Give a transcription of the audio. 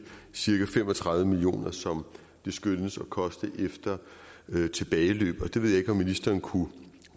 cirka fem og tredive million kr som det skønnes at koste efter tilbageløb det ved jeg ikke om ministeren kunne